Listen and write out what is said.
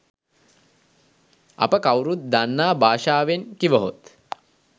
අප කවුරුත් දන්නා භාෂාවෙන් කිවහොත්